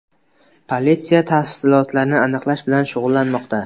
Politsiya tafsilotlarni aniqlash bilan shug‘ullanmoqda.